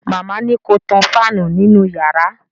Màmá ni ko tan fáànù nínú yàrá